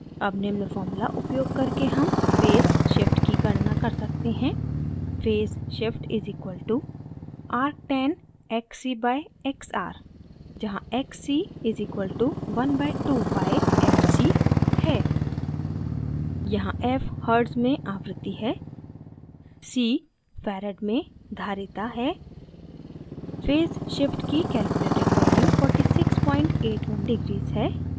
अब निम्न formula उपयोग करके हम phase shift की गणना कर सकते हैं: φ phase shift = arctan xc/xr जहाँ xc = 1/2πfc है